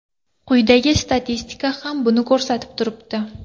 Quyidagi statistika ham buni ko‘rsatib turibdi.